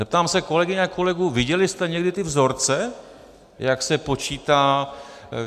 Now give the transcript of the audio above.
Zeptám se kolegyň a kolegů: viděli jste někdy ty vzorce, jak se počítá...?